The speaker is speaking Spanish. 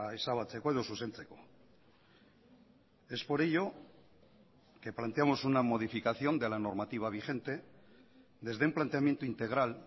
ezabatzeko edo zuzentzeko es por ello que planteamos una modificación de la normativa vigente desde un planteamiento integral